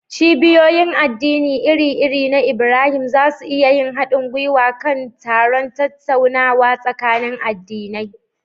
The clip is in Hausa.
Cibiyoyin addini iri-iri na Ibrahim za su iya yin haɗin gwiwa kan taron tattaunawa tsakanin addinai.